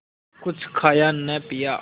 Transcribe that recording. कुछ खाया न पिया